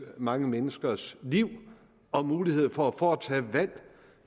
mange menneskers liv og muligheder for at foretage valg